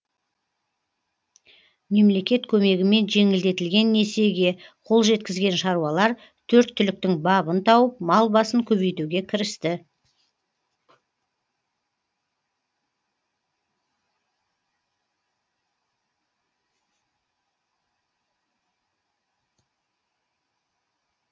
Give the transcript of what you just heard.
мемлекет көмегімен жеңілдетілген несиеге қол жеткізген шаруалар төрт түліктің бабын тауып мал басын көбейтуге кірісті